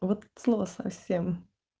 от слова совсем